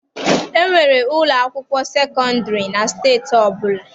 E nwere ụlọ akwụkwọ sekọndịrị na steeti ọbụla.